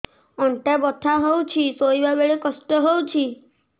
ଅଣ୍ଟା ବଥା ହଉଛି ଶୋଇଲା ବେଳେ କଷ୍ଟ ହଉଛି